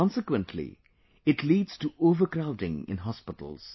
Consequently, it leads to overcrowding in hospitals